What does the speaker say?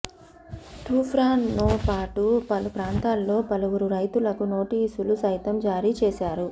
తూప్రాన్తోపాటు పలు ప్రాంతాల్లో పలువురు రైతులకు నోటీసులు సైతం జారీ చేశారు